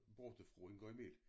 Borta-frå en gang i mellem